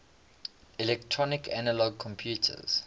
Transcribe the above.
electronic analog computers